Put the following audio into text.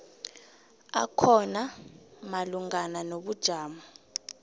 akhona malungana nobujamo